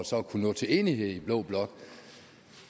så at kunne nå til enighed i blå blok